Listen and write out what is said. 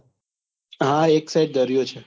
હા એક side દરિયો છે.